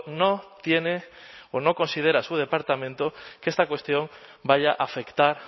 no tiene o no considera su departamento que esta cuestión vaya a afectar